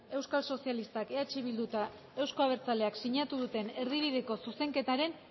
euskal sozialistak eh bildu eta euzko abertzaleak sinatu duten erdibideko zuzenketaren